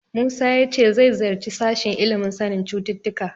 Musa ya ce zai ziyarci sashen ilimin sanin cututtuka.